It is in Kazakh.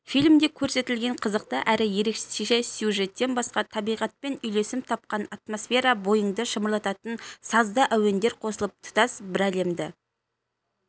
фильмде көрсетілген қызықты әрі ерекше сюжеттен басқа табиғатпен үйлесім тапқан атмосфера бойыңды шымырлататын сазды әуендер қосылып тұтас бір әлемді